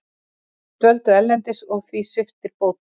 Dvöldu erlendis og því sviptir bótum